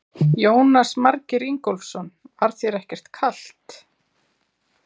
Jónas Margeir Ingólfsson: Var þér ekkert kalt?